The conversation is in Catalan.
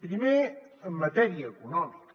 primer en matèria econòmica